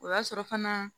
O y'a sɔrɔ fana